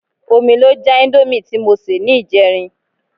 Omi ló já íńdómì tí mo sè ní ìjẹrin.